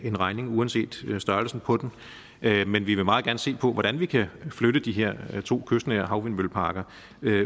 en regning uanset størrelsen på den men vi vil meget gerne se på hvordan vi kan flytte de her to kystnære havvindmølleparker